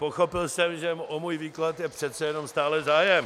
Pochopil jsem, že o můj výklad je přece jenom stále zájem.